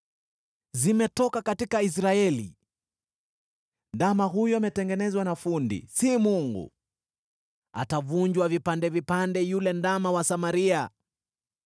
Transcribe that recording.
Zimetoka katika Israeli! Ndama huyu: ametengenezwa na fundi, si Mungu. Atavunjwa vipande vipande, yule ndama wa Samaria.